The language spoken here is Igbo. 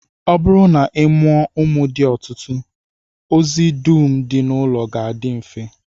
Ọ bụrụ na ị mụọ ụmụ dị ọtụtụ, ozi dum dị n'ụlọ ga-adị mfe